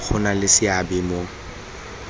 go nna le seabe mo